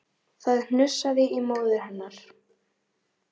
Það hnussaði í móður hennar